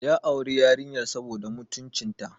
Ya auri yarinyar saboda mutuncinta.